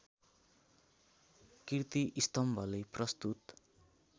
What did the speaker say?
कीर्ति स्तम्भले प्रस्तुत